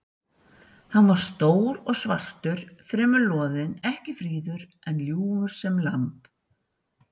Hann var stór og svartur, fremur loðinn, ekki fríður, en ljúfur sem lamb.